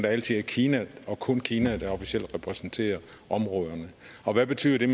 altid er kina og kun kina der officielt repræsenterer områderne og hvad betyder det